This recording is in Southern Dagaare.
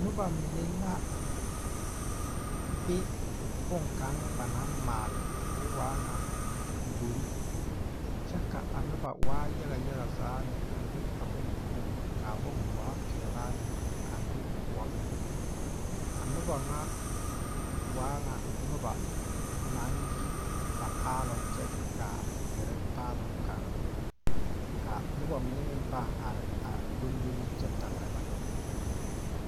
Nobɔ mine la be bonkaŋ ba naŋ maale koo waa ŋa gbore kyɛ ka a nobɔ waa yaga yaga zaa lɛ a be bon poɔŋ kaa bon waa peɛɛlaa lɛ a be kõɔmeŋ a nobɔ ŋa waa ŋa nobɔ naŋ yi ba paaloŋ kyɛ kaa gɛrɛ paaloŋ kaŋa ka nobɔ mine meŋ pãã are a doŋdole kyɛ tagra ba ka ba yiwa.